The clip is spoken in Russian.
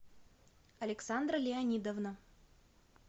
александра леонидовна